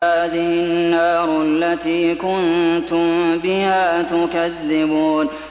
هَٰذِهِ النَّارُ الَّتِي كُنتُم بِهَا تُكَذِّبُونَ